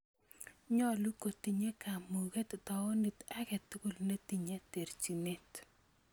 Nyolu kotinye kamuuket tawuniit agetugul ne tinye terchinet